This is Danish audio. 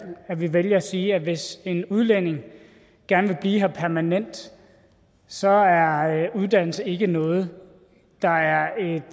vælger at sige at hvis en udlænding gerne vil blive her permanent så er er uddannelse ikke noget der er et